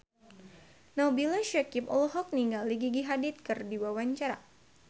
Nabila Syakieb olohok ningali Gigi Hadid keur diwawancara